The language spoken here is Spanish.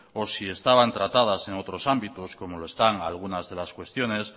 o si estaban tratadas en otros ámbitos como lo están algunas de las cuestiones